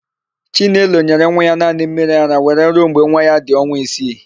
Chinelo nyere nwa ya naanị mmiriara were ruo mgbe nwa ya dị ọnwa isii.